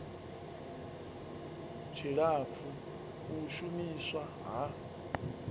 tshilapfu u shu miswa ha